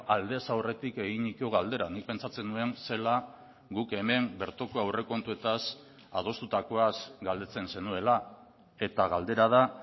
aldez aurretik eginiko galdera nik pentsatzen nuen zela guk hemen bertoko aurrekontuetaz adostutakoaz galdetzen zenuela eta galdera da